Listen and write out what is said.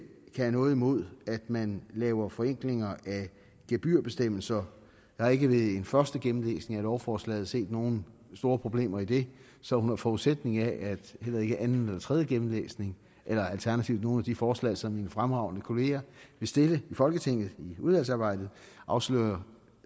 have noget imod at man laver forenklinger af gebyrbestemmelser jeg har ikke ved en første gennemlæsning af lovforslaget set nogen store problemer i det så under forudsætning af at heller ikke anden eller tredje gennemlæsning eller alternativt nogle af de forslag som mine fremragende kollegaer vil stille i folketinget i udvalgsarbejdet afslører